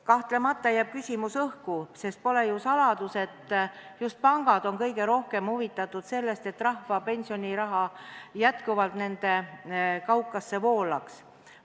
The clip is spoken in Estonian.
Kahtlemata jääb küsimus õhku, sest pole ju saladus, et just pangad on kõige rohkem huvitatud sellest, et rahva pensioniraha jätkuvalt nende kaukasse voolaks.